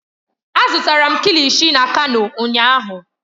Azụtara m kilishi na kano ụnyahụ.